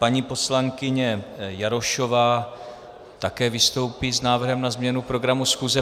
Paní poslankyně Jarošová také vystoupí s návrhem na změnu programu schůze.